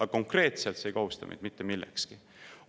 Aga konkreetselt see ei kohusta meid mitte millekski.